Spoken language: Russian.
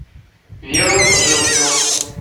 веру жилкину